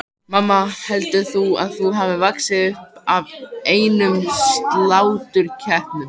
Mamma, heldurðu að hún hafi vaxið upp af einum sláturkeppnum?